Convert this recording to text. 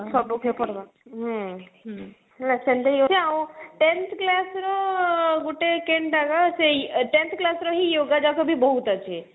ହୁଁ ସେ ସବୁ କିଏ ପଢବା ସେମିତି ହିଁ ଅଛି ଆଉ tenth class ର ଆଁ ଗୁଟେ କେନ୍ତା ବା ସେଇ tenth class ର ହି yoga ଯାକ ବି ବହୁତ ଅଛି